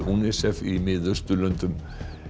UNICEF í Mið Austurlöndum